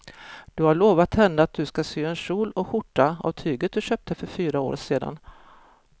Du har lovat henne att du ska sy en kjol och skjorta av tyget du köpte för fyra år sedan.